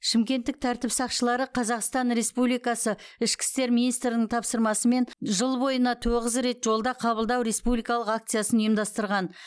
шымкенттік тәртіп сақшылары қазақстан республикасы ішкі істер министрінің тапсырмасымен жыл бойына тоғыз рет жолда қабылдау республикалық акциясын ұйымдастырған